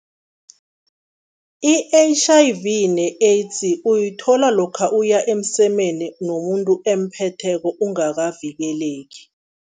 I-H_I_V ne-AIDS uyithola lokha uya emsemeni nomuntu emphetheko ungakavikeleki.